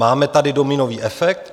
Máme tady dominový efekt.